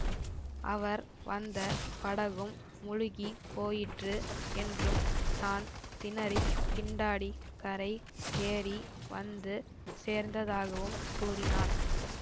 அவர் வந்த படகும் முழுகி போயிற்று என்றும் தான் திணறித் திண்டாடிக் கரை ஏறி வந்து சேர்ந்ததாகவும் கூறினான்